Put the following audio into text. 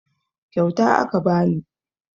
Kyauta aka bani